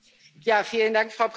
Frau Präsidentin!